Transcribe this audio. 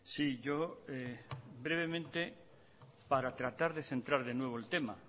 sí yo brevemente para tratar de centrar de nuevo el tema